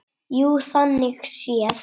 Jú, þannig séð.